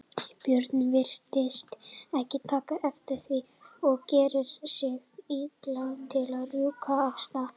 björn virtist ekki taka eftir því og gerði sig líklegan til að rjúka af stað.